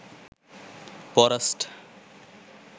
forest